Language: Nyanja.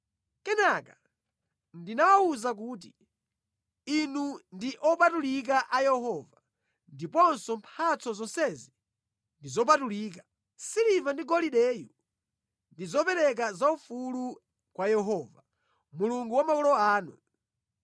Kenaka ndinawawuza kuti, “Inu ndi opatulika a Yehova, ndiponso mphatso zonsezi ndi zopatulika. Siliva ndi golideyu ndi zopereka zaufulu kwa Yehova, Mulungu wa makolo anu.